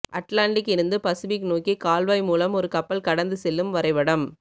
Atlantic இருந்து Pacific நோக்கி கால்வாய் மூலம் ஒரு கப்பல் கடந்து செல்லும் வரைபடம்